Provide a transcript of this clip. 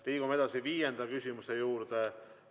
Liigume edasi viienda küsimuse juurde.